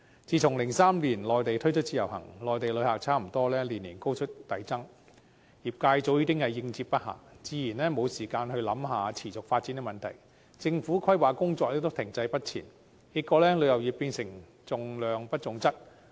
自從2003年內地推出自由行，內地旅客逐年高速遞增，業界早已應接不暇，自然沒有時間思考持續發展的問題，政府規劃工作亦停滯不前，結果旅遊業變成重量不重質。